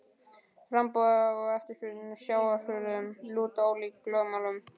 Framboð og eftirspurn á sjávarafurðum lúta ólíkum lögmálum.